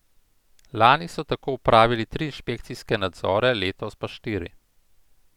Lani so tako opravili tri inšpekcijske nadzore, letos pa štiri.